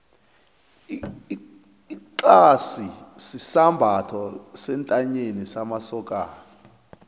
ixasi sisambatho sentanyeni samasokani